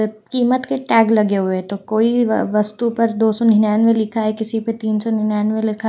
कीमत के टैग लगे हुए तो कोई व वस्तु पर दो सौ निन्यानवे लिखा है किसी पर तीन सौ निन्यानवे लिखा है।